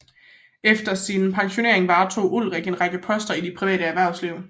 Efter sin pensionering varetog Olrik en række poster i det private erhvervsliv